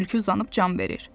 Tülkü uzanıb can verir.